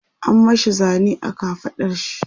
an mashi Zane a kafaɗar shi